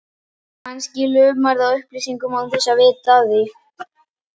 Kannski lumarðu á upplýsingum án þess að vita af því.